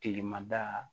Kilema da